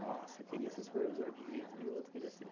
Nossa, eu queria ser supervisor, de um jeito ou de outro eu queria ser.